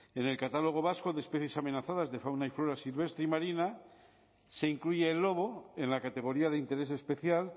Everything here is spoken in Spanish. en el catálogo vasco de especies amenazadas de fauna y flora silvestre y marina se incluye el lobo en la categoría de interés especial